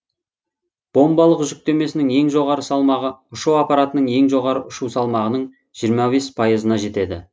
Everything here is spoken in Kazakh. бомбалық жүктемесі ең жоғары салмағы ұшу аппаратының ең жоғары ұшу салмағының жиырма бес пайызына жетеді